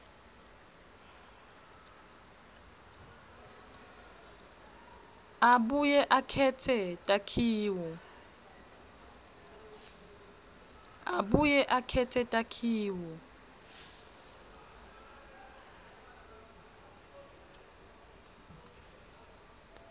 abuye akhetse takhiwo